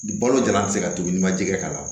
Balo jalan bɛ se ka to ni ma jɛgɛ k'a la